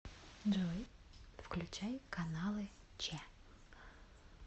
джой включай каналы че